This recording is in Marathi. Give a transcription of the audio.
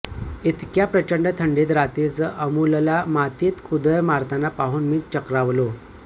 इतक्या प्रचंड थंडीत रात्रीचं अमूलला मातीत कुदळ मारताना पाहून मी चक्रावलो